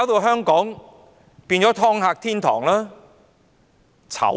香港不就淪為"劏客"天堂。